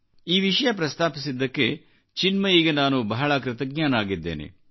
ಈ ವಿಷಯ ಪ್ರಸ್ತಾಪಿಸಿದ್ದಕ್ಕೆ ಚಿನ್ಮಯಿಗೆ ನಾನು ಬಹಳ ಕೃತಜ್ಞನಾಗಿದ್ದೇನೆ